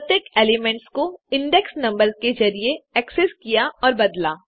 प्रत्येक एलिमेंट्स को index numbers के जरिये एक्सेस किया और बदला